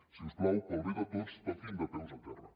si us plau per al bé de tots toquin de peus a terra